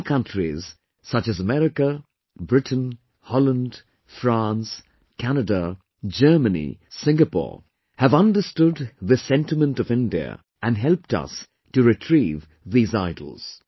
Many countries such as America, Britain, Holland, France, Canada, Germany, Singapore have understood this sentiment of India and helped us to retrieve these idols